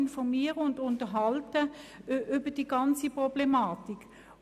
Informieren Sie sich vor Ort und unterhalten Sie sich einmal über diese ganze Problematik.